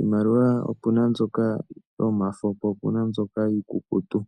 iimaliwa opena mbyoka iikukutu naambyoka yomafo.